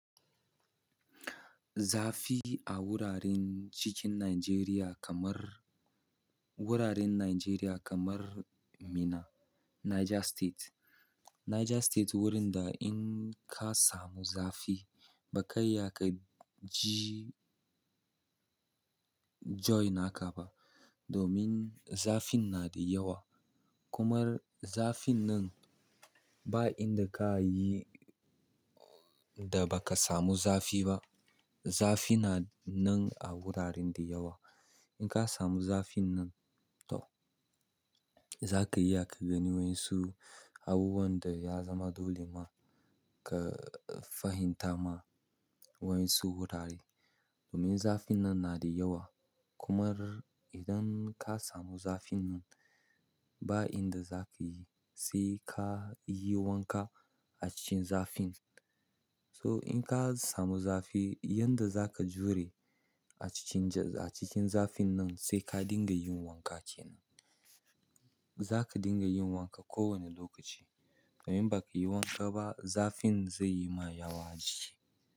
Zafi a wuraren cikin Najeriya kamar-- wuraren Najeriya kamar Minna, Niger State. Niger State wurin da in ka samu zafi ba kai ya ka ji join naka ba, domin zafin na da yawa. Kuma zafin nan ba inda ka yi da ba ka samu zafi ba. Zafi na nan a wuraren da yawa. In ka samu zafin nan to zaka iya ka gani wai su abubuwan da ya zama dole ma ka fahimta ma wai su wurare. Domin zafin nan na da yawa. Kumar idan ka samu zafin nan ba inda za ka yi sai ka yi wanka a cikin zafin. To in ka samu zafi yanda zaka jure a cikin zafin nan sai ka dinga wanka kenan. Za ka dinga yin wanka kowane lokaci. Domin ba ka yi wanka ba zafin zai yi ma yawa.